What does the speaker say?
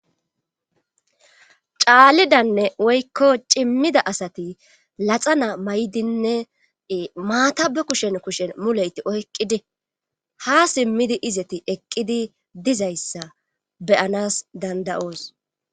caalidanne woykko cimmida asati laxana may7dinne maata be kushen kushen muleyti oyqqidi ha simmidi izeti eqqidi dizayssa beyanas dandayoos